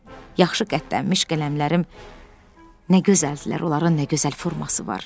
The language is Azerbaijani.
Yaxşı qələmlənmiş qələmlərim nə gözəldirlər, onların nə gözəl forması var!